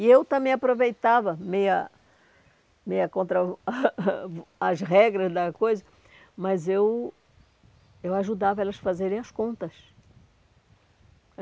E eu também aproveitava, meia meia contra o as regras da coisa, mas eu eu ajudava elas fazerem as contas.